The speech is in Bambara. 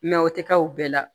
o tɛ k'aw bɛɛ la